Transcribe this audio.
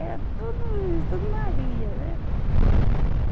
Era tudo isso, tudo Maria, né?